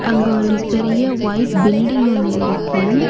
அங்க ஒரு பெரிய ஒயிட் பில்டிங் ஒன்னு இருக்கு.